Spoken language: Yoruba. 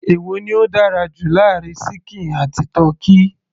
èwo ni ó dára jù láàárin ṣíkìn àti tọ́kì